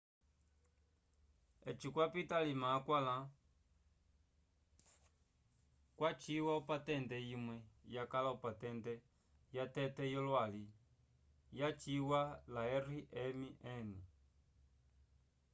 eci kwapita alima akwãla kwaciwa opatente imwe yakala opatente yatete yolwali lyaciwa la rmn